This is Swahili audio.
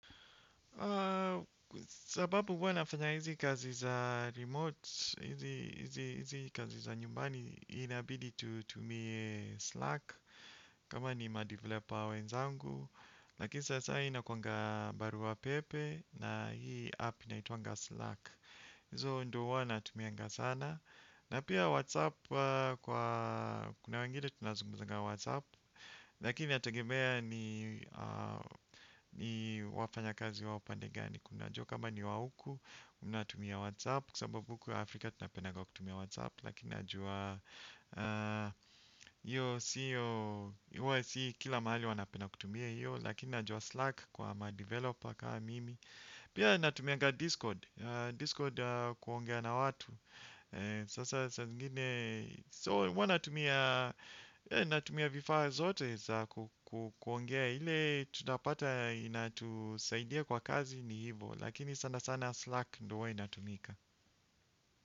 Sababu huwa nafanya hizi kazi za remote, hizi kazi za nyumbani, inabidi tutumie Slack. Kama ni ma-developer wenzangu, lakini sasa hii ni inakuanga barua pepe. Na hii app inaitwaga Slack, hizo ndo wana tumiaga sana. Na pia WhatsApp, kwa kuna wengine tunazungumzaga WhatsApp. Lakini inatagemea ni wafanya kazi wa upande gani. Kuna jua kama ni wa uku unatumia whatsapp kwasababu huku Afrika tunapendaga kutumia whatsapp. Lakini najua si kila mahali wanapenda kutumia hiyo. Lakini na jua slack kwa madeveloper kama mimi. Pia natumiaga discord, discord kuongea na watu. Sasa saa zingine so huwa natumia vifaa zote za kuongea ile tutapata inatusaidia kwa kazi ni hivo. Lakini sana sana Slack ndio huwa ina tumika.